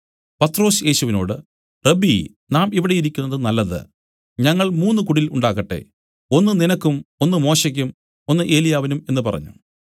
പത്രൊസ് യേശുവിനോടു റബ്ബീ നാം ഇവിടെ ഇരിക്കുന്നത് നല്ലത് ഞങ്ങൾ മൂന്നു കുടിൽ ഉണ്ടാക്കട്ടെ ഒന്ന് നിനക്കും ഒന്ന് മോശെക്കും ഒന്ന് ഏലിയാവിനും എന്നു പറഞ്ഞു